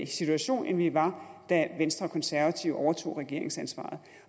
situation end vi var da venstre og konservative overtog regeringsansvaret